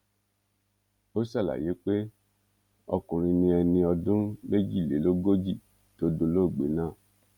ó ṣàlàyé pé ọkùnrin ni ẹni ọdún méjìlélógójì tó dolóògbé náà